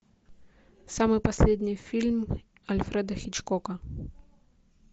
самый последний фильм альфреда хичкока